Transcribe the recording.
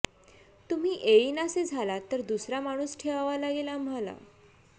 तुम्ही येईनासे झालात तर दुसरा माणूस ठेवावा लागेल आम्हाला